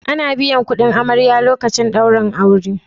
Ana biyan kudin amarya lokacin daurin aure